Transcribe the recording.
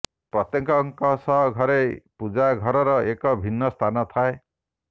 ପ୍ରତ୍ୟେକଙ୍କଷ ଘରେ ପୂଜା ଘରର ଏକ ଭିନ୍ନ ସ୍ଥାନ ଥାଏ